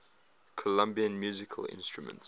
colombian musical instruments